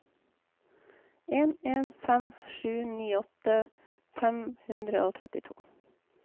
en en fem sju nittiåtte fem hundre og trettito